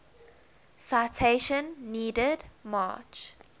citation needed march